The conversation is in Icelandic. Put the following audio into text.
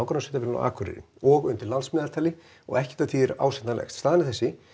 Akureyri og undir landsmeðaltali og ekkert af því er ásættanlegt staðan er þessi